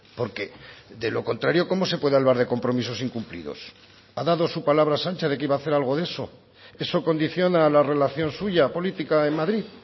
porque de lo contrario cómo se puede hablar de compromisos incumplidos ha dado su palabra sánchez de que iba a hacer algo de eso eso condiciona la relación suya política en madrid